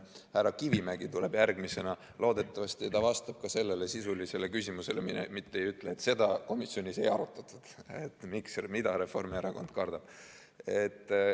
Härra Kivimägi tuleb siia järgmisena, loodetavasti ta vastab ka sellele sisulisele küsimusele, mitte ei ütle, et seda komisjonis ei arutatud, et mida Reformierakond kardab.